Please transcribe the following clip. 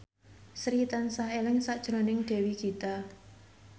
Sri tansah eling sakjroning Dewi Gita